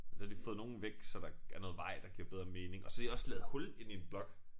Så har de fået nogle væk så der er noget vej der giver bedre mening og så har de også lavet hul inde i en blok